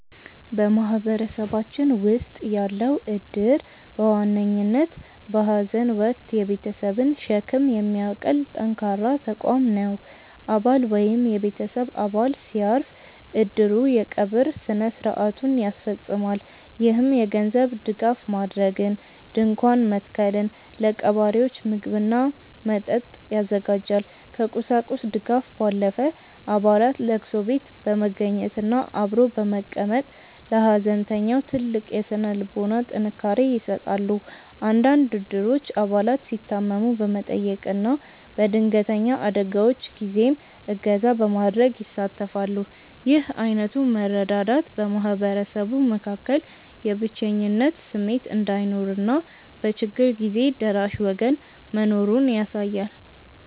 በማህበረሰባችን ውስጥ ያለው እድር በዋነኝነት በሐዘን ወቅት የቤተሰብን ሸክም የሚያቀል ጠንካራ ተቋም ነው። አባል ወይም የቤተሰብ አባል ሲያርፍ፣ እድሩ የቀብር ሥነ ሥርዓቱን ያስፈፅማል። ይህም የገንዘብ ድጋፍ ማድረግን፣ ድንኳን መትከልን፣ ለቀባሪዎች ምግብና መጠጥ ያዘጋጃል። ከቁሳቁስ ድጋፍ ባለፈ፣ አባላት ለቅሶ ቤት በመገኘትና አብሮ በመቀመጥ ለሐዘንተኛው ትልቅ የሥነ ልቦና ጥንካሬ ይሰጣሉ። አንዳንድ እድሮች አባላት ሲታመሙ በመጠየቅና በድንገተኛ አደጋዎች ጊዜም እገዛ በማድረግ ይሳተፋሉ። ይህ ዓይነቱ መረዳዳት በማህበረሰቡ መካከል የብቸኝነት ስሜት እንዳይኖርና በችግር ጊዜ ደራሽ ወገን መኖሩን ያሳያል።